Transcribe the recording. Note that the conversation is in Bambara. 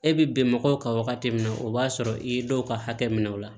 E bɛ bɛn mɔgɔw kan wagati min na o b'a sɔrɔ i ye dɔw ka hakɛ minɛ o la